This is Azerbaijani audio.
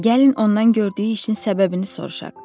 Gəlin ondan gördüyü işin səbəbini soruşaq.